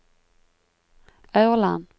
Aurland